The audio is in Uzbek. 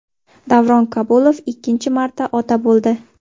Davron Kabulov ikkinchi marta ota bo‘ldi.